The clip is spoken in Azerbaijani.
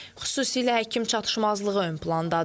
Xüsusilə həkim çatışmazlığı ön plandadır.